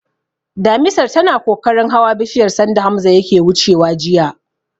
Damisar tana kokarin hawa bishiyar sanda Hamza yake wucewa jiya.